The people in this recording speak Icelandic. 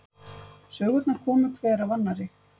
Sögurnar komu hver af annarri.